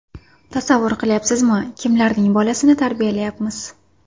Tasavvur qilyapsizmi, kimlarning bolasini tarbiyalayapmiz?